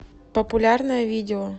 популярное видео